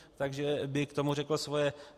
Takže by k tomu řekl svoje.